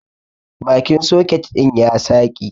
Bakin soket din ya saƙi.